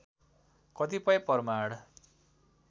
कतिपय प्रमाण